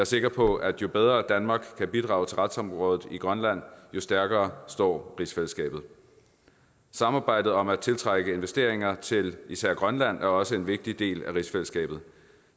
sikker på at jo bedre danmark kan bidrage til retsområdet i grønland jo stærkere står rigsfællesskabet samarbejdet om at tiltrække investeringer til især grønland er også en vigtig del af rigsfællesskabet